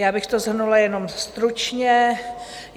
Já bych to shrnula jenom stručně.